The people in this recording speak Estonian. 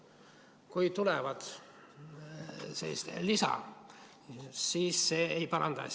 Kui tuleb lisa, siis see ei paranda asja.